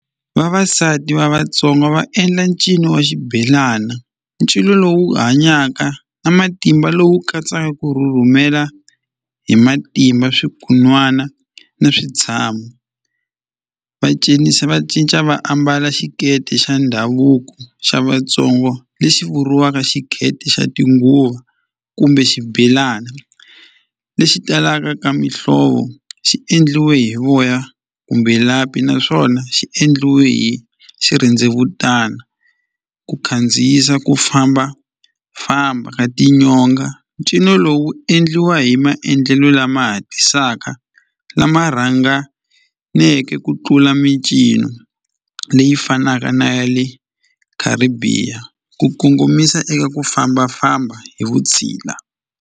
Vavasati va Vatsonga va endla ncino wa xibelana ncino lowu hanyaka na matimba lowu katsaka ku rhurhumela hi matimba swi kun'wana ni switshamo va cinisa va cinca va ambala xiketi xa ndhavuko xa Vatsonga lexi vuriwaka xiketi xa tinguva kumbe xibelana lexi talaka ka mihlovo xi endliwe hi voya kumbe lapi naswona xi endliwe hi xirhendzevutana ku khandziyisa ku fambafamba ka tinyonga ncino lowu wu endliwa hi maendlelo lama hatlisaka lama rhanganeke ku tlula micino leyi fanaka na ya le Caribbean ku kongomisa eku fambafamba hi vutshila.